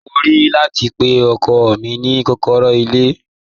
Mo ní rẹti pe o kò ni kòkòrò ni ilẹ̀ rẹ?